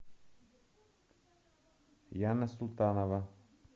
яна султанова